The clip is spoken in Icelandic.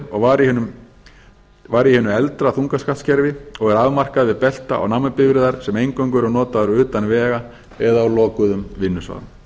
og var í hinu eldra þuingaksattskerfi og er afmarkað við belta og námubifreiðar sem eingöngu eru notaðar utan vega eða á lokuðum vinnusvæðum